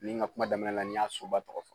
Ni n ka kuma daminɛ ni n y'a soba tɔgɔ fɔ.